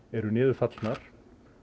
eru niður fallnar